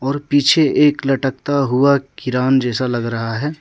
और पीछे एक लटकता हुआ किरान जैसा लग रहा है।